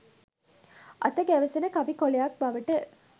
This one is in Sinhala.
අත ගැවසෙන කවි කොළයක් බවට